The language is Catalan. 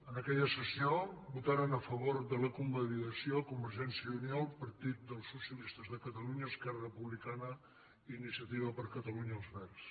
en aquella sessió votaren a favor de la convalidació convergència i unió el partit dels socialistes de catalunya esquerra republicana i iniciativa per catalunya verds